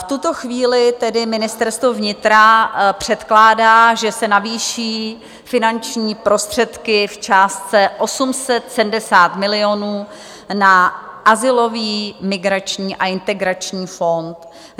V tuto chvíli tedy Ministerstvo vnitra předkládá, že se navýší finanční prostředky v částce 870 milionů na Azylový, migrační a integrační fond.